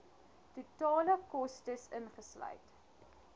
totale kostes ingesluit